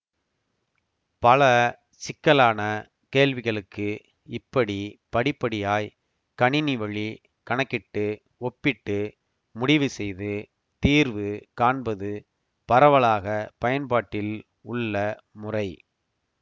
பல சிக்கலான கேள்விகளுக்கு இப்படி படிப்படியாய் கணினிவழி கணக்கிட்டு ஒப்பிட்டு முடிவுசெய்து தீர்வு காண்பது பரவலாக பயன்பாட்டில் உள்ள முறை